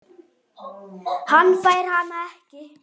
Hann fær hana ekki.